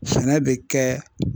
Sɛnɛ be kɛ